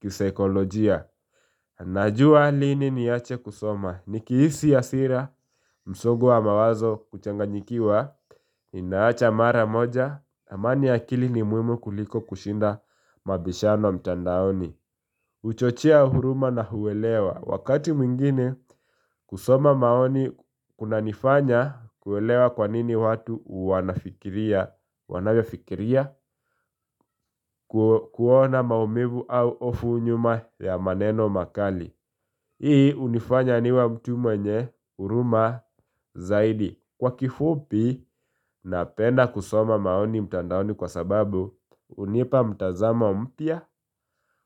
kisaikolojia. Najua lini niache kusoma, nikihisi hasira, msongo wa mawazo kuchanganyikiwa, ninaacha mara moja, amani ya akili ni muhimu kuliko kushinda mabishano mtandaoni. Huchochea huruma na huelewa. Wakati mwingine kusoma maoni kunanifanya kuelewa kwanini watu wanavyofikiria kuona maumivu au hofu nyuma ya maneno makali. Hii hunifanya niwe mtu mwenye huruma zaidi. Kwa kifupi napenda kusoma maoni mtandaoni kwa sababu hunipa mtazamo mpya,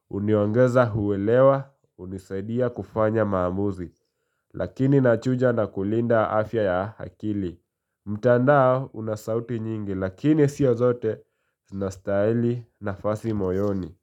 huniongeza kuelewa, hunisaidia kufanya maamuzi, lakini nachuja nakulinda afya ya akili. Mtandao una sauti nyingi lakini sio zote zinastahili nafasi moyoni.